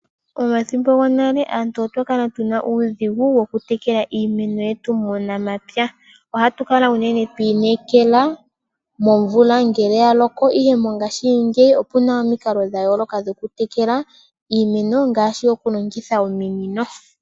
Pomathimbo gonale aantu otwa kala tu na uudhigu wo ku tekela iimeno yetu muunamapya. Aantu oya kala ya inekela momvula ngele ta yi loko, ihe mongashingeyi opuna omikalo dhoku tekela iimeno ngaashi oku longitha ominino.